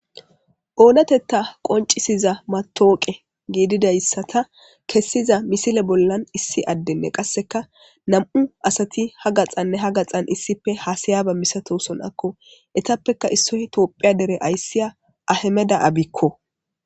oonatetta qoncisiza matooqe giididayssata kessiza misile bollan issi addenne qasseka nam7u asati ha gaxanne ha gaxan issife haasayaba misatoson akko etappeka issoy toophiya dere ayssiya ahemeda abikko